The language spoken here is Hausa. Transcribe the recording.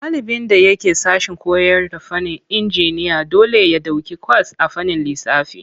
Ɗalibin da yake sashen koyarda fannin injiniya dole ya ɗauki kwas a fannin lissafi.